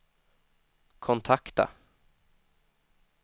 kontakta